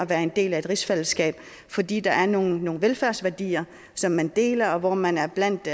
være en del af et rigsfællesskab fordi der er nogle velfærdsværdier som man deler og man er blandt